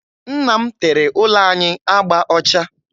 Nna m tere ụlọ anyị agba ọcha